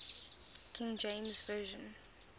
king james version